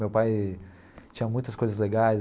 Meu pai tinha muitas coisas legais.